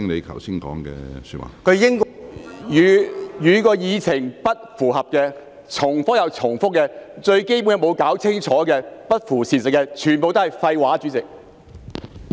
他的發言與議題不符，而且不斷重複，連最基本的議題亦沒有弄清楚，與事實不符，全部都是廢話，主席。